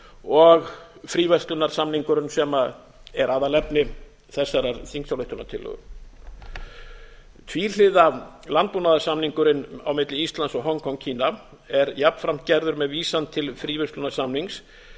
og fríverslunarsamningurinn sem er aðalefni þessarar þingsályktunartillögu tvíhliða landbúnaðarsamningurinn á milli íslands og hong kong kína er jafnframt gerður með vísan til fríverslunarsamnings